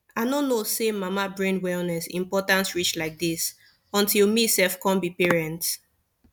i no know say mama brain wellness important reach like dis until me sef come be parent